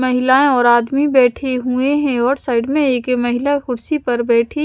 महिलाएं और आदमी बैठे हुए हैं और साइड में एक महिला कुर्सी पर बैठी--